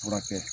Furakɛ